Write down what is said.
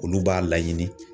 Olu b'a laɲini